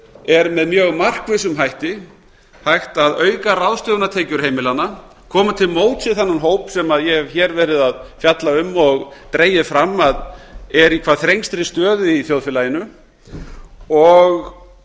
er með mjög markvissum hætti hægt að auka ráðstöfunartekjur heimilanna koma til móts við þennan hóp sem ég hef hér verið að fjalla um og dregið fram að er í hvað þrengstri stöðu í þjóðfélaginu og